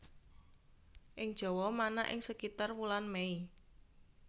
Ing Jawa manak ing sekitar wulan Mei